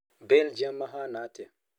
Belgium mahana atĩa?